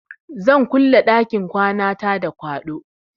Zan kulle ɗakin kwanata da kwaɗo.